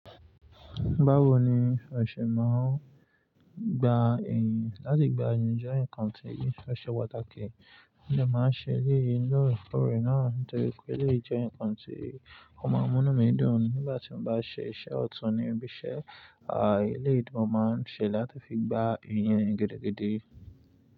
Báwo ni ọṣẹ máa ń gba ẹyin? Láti gba ẹyin jẹ́ nǹkan tí ó ṣe pàtàkì. Mo dẹ́ máa ń ṣe eléyìí lọ́ọ̀rẹ́koore náà nítorí pé eléyìí jẹ́ nǹkan tí ó máa ń mú inú mi dùn nígbà tí mo bá ṣe iṣẹ́ ọ̀tún ni ibi iṣẹ́. Àí, eléyìí tí mo máa ń ṣe láti fi gba îyin gidigidi.